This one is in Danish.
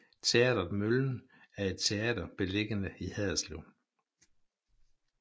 Teatret Møllen er et teater beliggende i Haderslev